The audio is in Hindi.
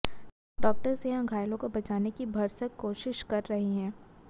डॉक्टर्स यहां घायलों को बचाने की भरसक कोशिश कर रहे हैं